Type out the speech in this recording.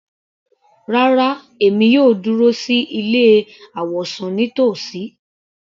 Rárá, èmi yóò dúró sí ilé àwọ̀sùn nítòsí.